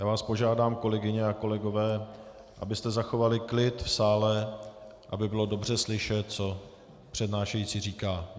Já vás požádám, kolegyně a kolegové, abyste zachovali klid v sále, aby bylo dobře slyšet, co přednášející říká.